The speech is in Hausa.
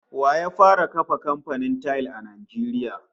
Wa ya fara kafa kamfanin tayil a Najeriya?